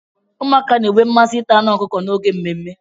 Ụmụaka na-enwe mmasị ita anụ ọkụkọ n'oge mmemme.